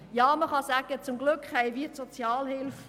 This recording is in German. Ja, man kann sagen, zum Glück haben wir die Sozialhilfe!